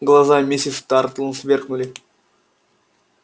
глаза миссис тарлтон сверкнули